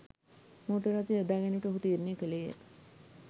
motor රථ යොදාගැනීමට ඔහු තීරණය කළේය